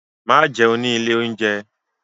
Má jẹun ni ilé-oúnjẹ.